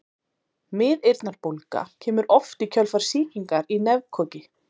miðeyrnabólga kemur oft í kjölfar sýkingar í nefkoki